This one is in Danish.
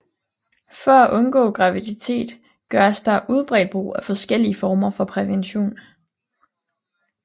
For at undgå graviditet gøres der udbredt brug af forskellige former for prævention